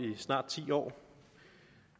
i snart ti år